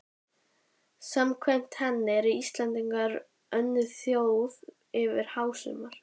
Samkvæmt henni eru Íslendingar önnur þjóð yfir hásumar